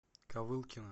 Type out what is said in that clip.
ковылкино